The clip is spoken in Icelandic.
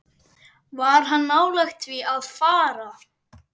Var hann nálægt því að fara?